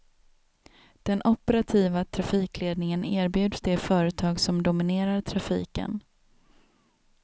Den operativa trafikledningen erbjuds det företag som dominerar trafiken.